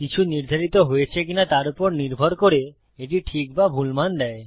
কিছু নির্ধারিত হয়েছে কি নয় তার উপর নির্ভর করে এটি ঠিক বা ভুল মান দেয়